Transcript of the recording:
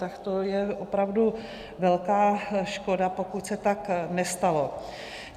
Tak to je opravdu velká škoda, pokud se tak nestalo.